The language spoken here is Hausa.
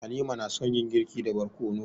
Halima na son yin girki da barkono.